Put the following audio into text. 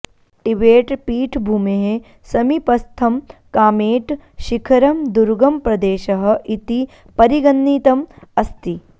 टिबेट्पीठभूमेः समीपस्थं कामेट् शिखरं दुर्गमप्रदेशः इति परिगणितम् अस्ति